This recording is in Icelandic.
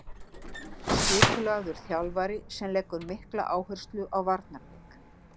Skipulagður þjálfari sem leggur mikla áherslu á varnarleik.